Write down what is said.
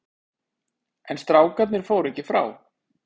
En strákarnir fóru ekki frá.